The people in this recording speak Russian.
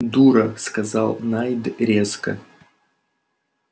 дура сказал найд резко